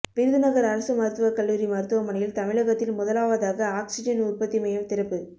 விருதுநகர் அரசு மருத்துவக்கல்லூரி மருத்துவமனையில் தமிழகத்தில் முதலாவதாக ஆக்சிஜன் உற்பத்தி மையம் திறப்பு